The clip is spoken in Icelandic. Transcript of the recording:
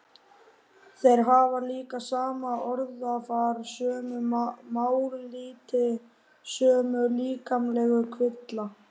Þeir hafa líka sama orðafar, sömu mállýti, sömu líkamlegu kvilla.